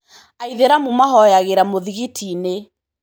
Aithĩramu mahoyangĩra mũthingiti-inĩ.